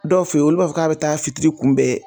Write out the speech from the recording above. Dɔw fɛ yen olu b'a fɔ k'a bɛ taa fitiri kunbɛn.